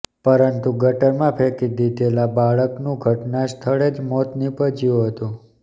પરંતુ ગટરમાં ફેંકી દીધેલા બાળકનું ઘટના સ્થળે જ મોત નીપજ્યું હતું